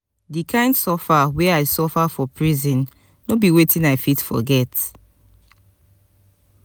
di kain life suffer wey i suffer for prison no be wetin i fit forget.